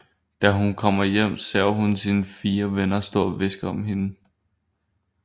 Da hun kommer hjem ser hun sine fire venner stå og hviske om hende